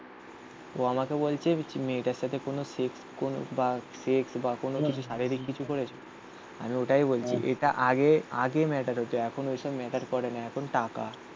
ও আমাকে বলছে মেয়েটার সাথে কোনো সেক্স কোন বা সেক্স বা কোন কিছু শারীরিক কিছু করেছো? আমি ওটাই বলছি এটা আগে আগে ম্যাটার হতো, এখন ওইসব ম্যাটার করে না এখন টাকা